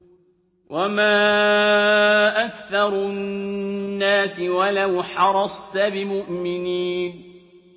وَمَا أَكْثَرُ النَّاسِ وَلَوْ حَرَصْتَ بِمُؤْمِنِينَ